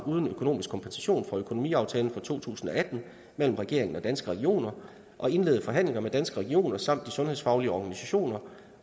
uden økonomisk kompensation fra økonomiaftalen for to tusind og atten mellem regeringen og danske regioner og at indlede forhandlinger med danske regioner samt de sundhedsfaglige organisationer